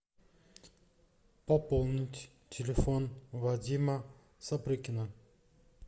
пополнить телефон вадима сопрыкина